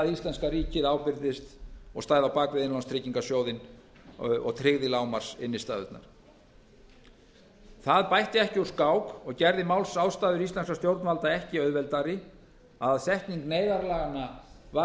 íslenska ríkið ábyrgðist og stæði á bak við innlánstryggingasjóðinn og tryggði lágmarksinnstæðurnar það bætti ekki úr skák og gerði málsástæður íslenskra stjórnvalda ekki auðveldari að setning neyðarlaganna var